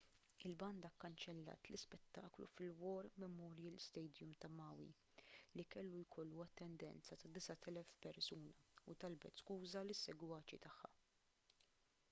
il-banda kkanċellat l-ispettaklu fil-war memorial stadium ta' maui li kellu jkollu attendenza ta' 9,000 persuna u talbet skuża lis-segwaċi tagħha